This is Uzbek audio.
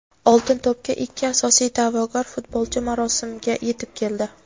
"Oltin to‘p"ga ikki asosiy da’vogar futbolchi marosimga yetib keldi.